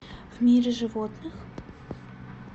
в мире животных